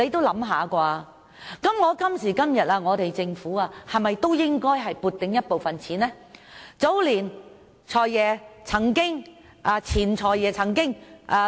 那麼，今時今日的政府有盈餘，是否也應該撥出部分錢供兒童發展之用呢？